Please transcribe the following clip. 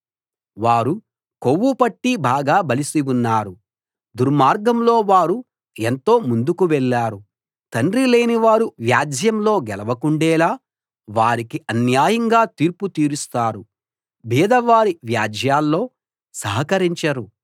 వారు కొవ్వు పట్టి బాగా బలిసి ఉన్నారు దుర్మార్గంలో వారు ఎంతో ముందుకు వెళ్ళారు తండ్రి లేనివారు వ్యాజ్యంలో గెలవకుండేలా వారికి అన్యాయంగా తీర్పు తీరుస్తారు బీదవారి వ్యాజ్యాల్లో సహకరించరు